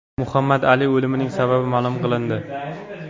Muhammad Ali o‘limining sababi ma’lum qilindi.